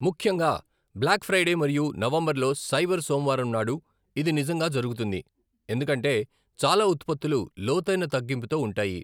ముఖ్యంగా black Friday మరియు November లో సైబర్ సోమవారం నాడు ఇది నిజంగా జరుగుతుంది, ఎందుకంటే చాలా ఉత్పత్తులు లోతైన తగ్గింపుతో ఉంటాయి.